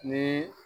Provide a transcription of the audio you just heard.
Ni